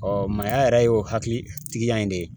maaya yɛrɛ y'o hakilitigiya in de ye